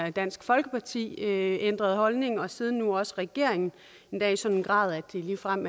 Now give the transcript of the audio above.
og dansk folkeparti ændrede holdning og siden nu også regeringen endda i en sådan grad at det ligefrem